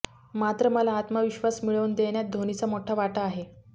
मात्र मला आत्मविश्वास मिळवून देण्यात धोनीचा मोठा वाटा आहे